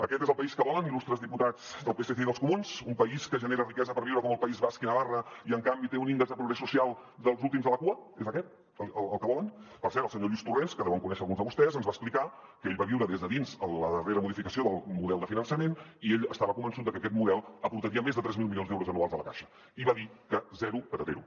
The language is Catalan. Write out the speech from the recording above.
aquest és el país que volen il·lustres diputats del psc i dels comuns un país que genera riquesa per viure com el país basc i navarra i en canvi té un índex de progrés social dels últims de la cua és aquest el que volen per cert el senyor lluís torrens que deuen conèixer alguns de vostès ens va explicar que ell va viure des de dins la darrera modificació del model de finançament i ell estava convençut de que aquest model aportaria més de tres mil milions d’euros anuals a la caixa i va dir que zero patatero